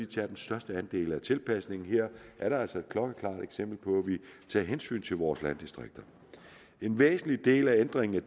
tager den største andel af tilpasningen her er der altså et klokkeklart eksempel på at vi tager hensyn til vores landdistrikter en væsentlig del af ændringen af